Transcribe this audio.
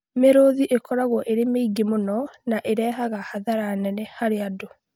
Mĩrũũthi ĩkoragwo ĩrĩ mĩingĩ mũno na ĩrehaga hathara nene harĩ andũ